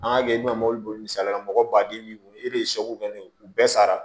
An ka kɛ i bɛna mobili boli misaliyala mɔgɔ baden b'i e de ye u bɛɛ sara